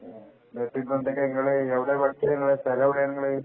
ഇത് ഇപ്പൊ എന്തൊക്കെ ഇങ്ങള് എവിടെ വർക്ക് ചെയ്യുന്നത് സ്ഥലമെവിടെ നിങ്ങള്